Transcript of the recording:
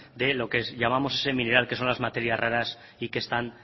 de lo que llamamos que son las materias raras y que están